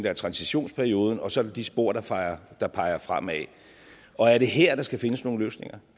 er transitionsperioden og så er der de spor der peger der peger fremad og er det her at der skal findes nogle løsninger